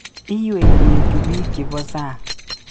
Iwei kechub biik chebo sang